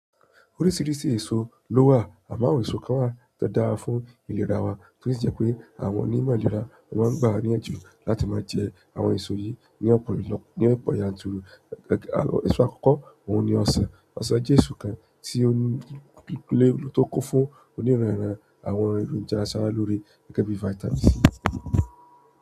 Oríṣiríṣi èso ló wà àmọ́ àwọn èso kan wa to dára fún ìlera wa to si je pé àwọn onímọ̀ ìlera máa ń gba níyànjú láti máa jẹ àwọn èso yìí ní ọ̀pọ̀ yanturu. Ẹ̀ṣọ́ àkọ́kọ́ òun ni ọsàn. Ọsàn jẹ́ èso kan tó kún fún oníranran àwọn nkan to jẹ́ aṣára lóore gẹ́gẹ́ bí vitamin C.